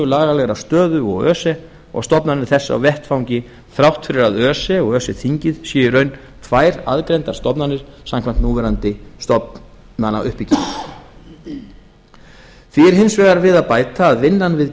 lagalegrar stöðu og öse og stofnanir þess á vettvangi þrátt fyrir að öse og öse þingið séu í raun tvær aðgreindar stofnanir samkvæmt núverandi stofnanauppbyggingu því er hins vegar við að bæta að vinnan við